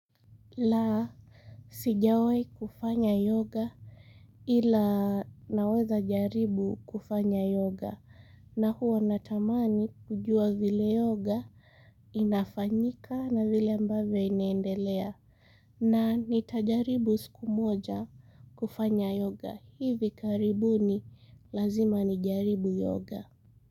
La sijawai kufanya yoga ila naweza jaribu kufanya yoga na huwa natamani kujua vile yoga inafanyika na vile ambavyo inaendelea na nitajaribu siku moja kufanya yoga hivi karibuni lazima nijaribu yoga.